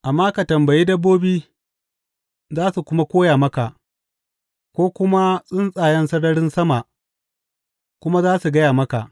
Amma ka tambayi dabbobi, za su kuma koya maka, ko kuma tsuntsayen sararin sama kuma za su gaya maka.